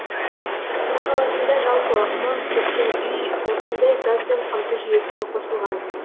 астана қаласында жалпы мың сексен үй осындай газбен қамту жүйесіне қосылған